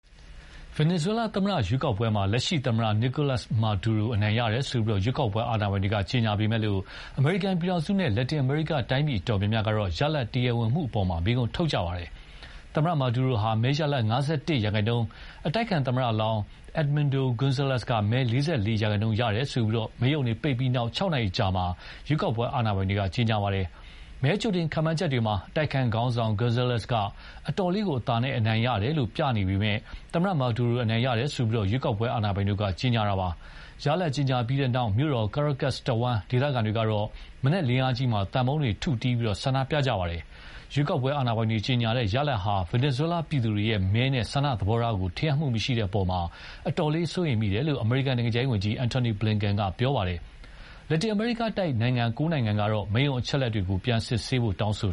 ဗင်နီဇွဲလားသမ္မတရွေးကောက်ပွဲမှာ လက်ရှိသမ္မတ Nicolas Maduro အနိုင်ရတယ်လို့ ရွေးကောက်ပွဲအာဏာပိုင်တွေက ကြေညာပေမယ့် အမေရိကန်ပြည်ထောင်စုနဲ့ လက်တင်အမေရိကန်တိုင်းပြည်အတော်များများကတော့ ရလဒ် တရားဝင်မှုအပေါ် မေးခွန်းထုတ်ကြပါတယ်။ သမ္မတ Maduro ဟာ မဲရလဒ် ၅၁ ရာခိုင်နှုန်း၊ အတိုက်အခံသမ္မတလောင်း Edmundo Gonzalez က မဲ ၄၄ ရာခိုင်နှုန်းရတယ်လို့ မဲရုံတွေပိတ်ပြီးနောက် ၆ နာရီအကြာမှာပဲ ရွေးကောက်ပွဲအာဏာပိုင်တို့က ကြေညာလိုက်တာပါ။ မဲ ကြိုတင်ခန့်မှန်းချက်တွေမှာတော့ အတိုက်အခံခေါင်းဆောင် Gonzalez က အတော်လေးအသာနဲ့ အနိုင်ရတယ်လို့ ပြနေတဲ့နောက် သမ္မတ Maduro အနိုင်ရတယ်လို့ ရွေးကောက်ပွဲအာဏာပိုင်တို့ ကြေညာလိုက်တာပါ။ ရလဒ်ကြေညာပြီးတဲ့နောက် မြို့တော် Caracas တဝန်းက ဒေသခံတွေကတော့ မနက်လင်းအားကြီးမှာ သံပုံးတွေထုတီးပြီး ဆန္ဒပြကြပါတယ်။ ရွေးကောက်ပွဲအာဏာပိုင်တွေကြေညာတဲ့ ရလဒ်ဟာ ဗင်နီဇွဲလားပြည်သူတွေရဲ့ မဲနဲ့ ဆန္ဒသဘောထားကို ထင်ဟပ်မှုမရှိတဲ့အပေါ် အတော်လေး စိုးရိမ်မိတယ်လို့ အမေရိကန်နိုင်ငံခြားရေးဝန်ကြီး Antony Blinken က ပြောပါတယ်။ လက်တင်အမေရိကန်တိုက် နိုင်ငံ ၉ နိုင်ငံကတော့ မဲရုံအချက်အလက်တွေကို စစ်ဆေးဖို့ တောင်းဆိ